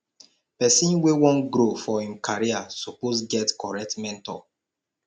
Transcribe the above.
pesin wey wan grow for im career suppose get correct mentor